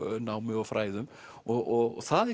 námi og fræðum og það